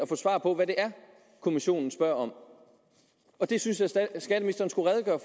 svar på hvad det er kommissionen spørger om og det synes jeg at skatteministeren skulle redegøre